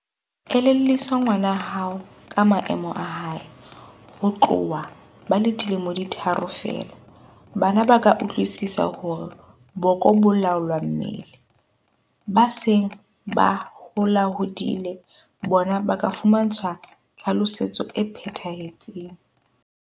Elellwisa ngwana hao ka maemo a hae. Ho tloha ba le dilemo di tharo feela, bana ba ka utlwisisa hore boko bo laola mmele. Ba seng ba holahodile bona ba ka fumantshwa tlhalosetso e phethahetseng.